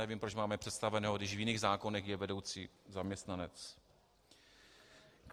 Nevím, proč máme představeného, když v jiných zákonech je vedoucí zaměstnanec.